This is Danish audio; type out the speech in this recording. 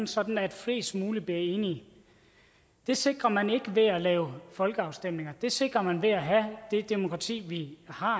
sådan at flest mulige bliver enige det sikrer man ikke ved at lave folkeafstemninger det sikrer man ved at have det demokrati vi har